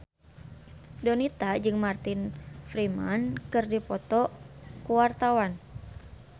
Donita jeung Martin Freeman keur dipoto ku wartawan